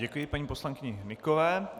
Děkuji paní poslankyni Hnykové.